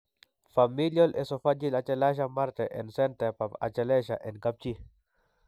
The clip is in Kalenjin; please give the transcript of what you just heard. Familial esophageal achalasia marte en sentab achalasia en kapchi.